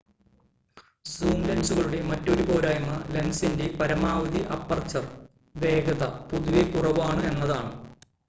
zoom ലെൻസുകളുടെ മറ്റൊരു പോരായ്മ ലെൻസിന്റെ പരമാവധി അപ്പർച്ചർ വേഗത പൊതുവെ കുറവാണ് എന്നതാണ്